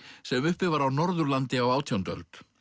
sem uppi var á Norðurlandi á átjándu öld